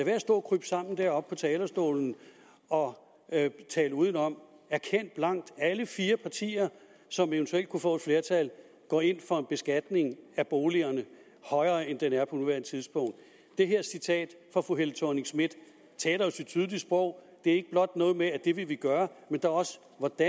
at stå og krybe sammen deroppe på talerstolen og tale udenom erkend blankt at alle fire partier som eventuelt kunne få et flertal går ind for en højere beskatning af boligerne end den der er på nuværende tidspunkt det her citat fra fru helle thorning schmidt taler jo sit tydelige sprog det er ikke blot noget med at det vil gøre men også